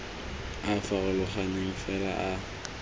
a a farologaneng fela a